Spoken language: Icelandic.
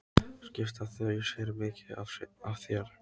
Skipta þau sér mikið af þér?